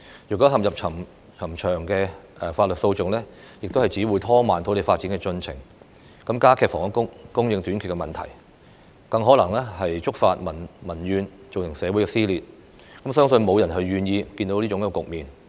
若收地工作面對冗長的法律訴訟，只會拖慢土地發展的進程，加劇房屋供應短缺的問題；更可能觸發民怨，造成社會撕裂，我相信沒有人想看到這種局面。